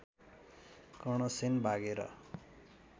कर्णसेन भागेर